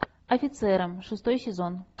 офицеры шестой сезон